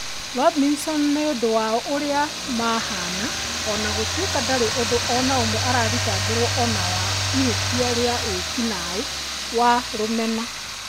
Robinson nĩ ũndũ wa ũrĩa mahaana, o na gũtuĩka ndarĩ ũndũ o na ũmwe ũrathitangĩrũona wa ihĩtia rĩa wĩki-naĩ wa rũmena.